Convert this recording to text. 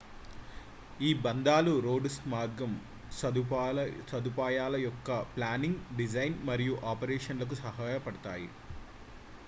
ఈ బంధాలు రోడ్డు మార్గం సదుపాయాల యొక్క ప్లానింగ్ డిజైన్ మరియు ఆపరేషన్ లకు సహాయపడతాయి